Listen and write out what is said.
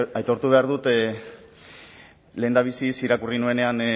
aitortu behar dut lehendabiziz irakurri nuenean